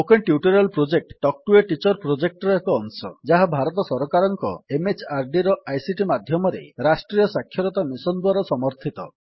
spoken tutorial project talk to a teacher ପ୍ରୋଜେକ୍ଟର ଏକ ଅଂଶ ଯାହା ଭାରତ ସରକାରଙ୍କ MHRDର ଆଇସିଟି ମାଧ୍ୟମରେ ରାଷ୍ଟ୍ରୀୟ ସାକ୍ଷରତା ମିଶନ୍ ଦ୍ୱାରା ସମର୍ଥିତ